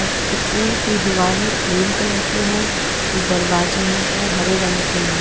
School कि दिवारें cream colour की है जो दरवाजे हैं वो हरे रंग के हैं।